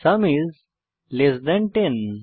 sum is less than 10